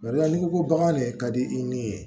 Barika n'i ko ko bagan de ka di i ni ye